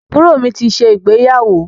Àbúrò mi ti ṣe ìgbéyàwó